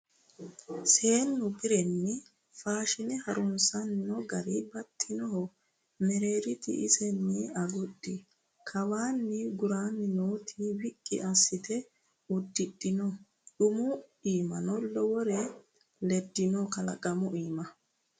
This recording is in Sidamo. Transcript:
Seenu bashonni faashine harunsano gari baxxinoho mereerti isini agudhi, kawani gurani nooti wiqqi assite udidhino umu iimano lowore ledino kalaqamuhu iima.